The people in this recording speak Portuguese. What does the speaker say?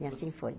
E assim foi.